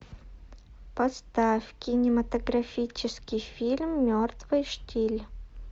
поставь кинематографический фильм мертвый штиль